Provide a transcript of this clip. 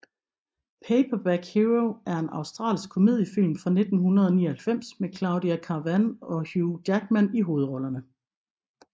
Paperback Hero er en australsk komediefilm fra 1999 med Claudia Karvan og Hugh Jackman i hovedrollerne